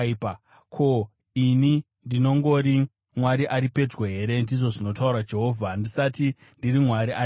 “Ko, ini ndinongori Mwari ari pedyo here,” ndizvo zvinotaura Jehovha, “ndisati ndiri Mwari ari kure?